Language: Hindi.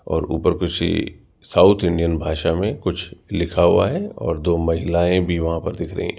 और ऊपर किसी साउथ इंडियन भाषा में कुछ लिखा हुआ है और दो महिलाएं भी वहां पर दिख रही हैं।